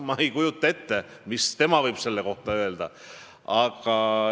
Ma ei kujuta ette, mida tema selle kohta öelda võib.